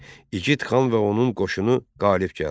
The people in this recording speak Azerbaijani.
İgid xan və onun qoşunu qalib gəldi.